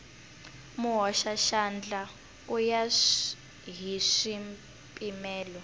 muhoxaxandla ku ya hi swipimelo